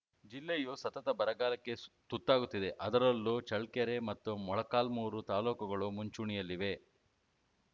ಜಿಲ್ಲೆಯೂ ಸತತ ಬರಗಾಲಕ್ಕೆ ತುತ್ತಾಗುತ್ತಿದೆ ಅದರಲ್ಲೂ ಚಳ್ಳಕೆರೆ ಮತ್ತು ಮೊಳಕಾಲ್ಮುರು ತಾಲೂಕುಗಳು ಮುಂಚೂಣೆಯಲ್ಲಿವೆ